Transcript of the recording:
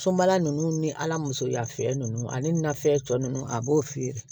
Sobala ninnu ni ala musoya fɛ ninnu ani nafɛn tɔ ninnu a b'o feere